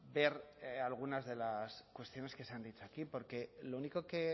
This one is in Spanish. ver algunas de las cuestiones que se han dicho aquí porque lo único que